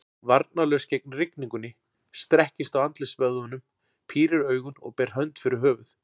Varnarlaus gegn rigningunni, strekkist á andlitsvöðvunum, pírir augun og ber hönd fyrir höfuð.